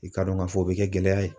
I k'a dɔn k'a fɔ o bɛ kɛ gɛlɛya ye.